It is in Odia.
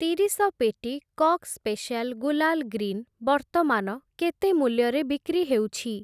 ତିରିଶ ପେଟି କକ୍ ସ୍ପେଶିଆଲ୍‌ ଗୁଲାଲ୍‌ ଗ୍ରୀନ୍‌ ବର୍ତ୍ତମାନ କେତେ ମୂଲ୍ୟରେ ବିକ୍ରି ହେଉଛି?